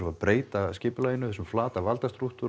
að breyta skipulaginu þessum flata valdastrúktúr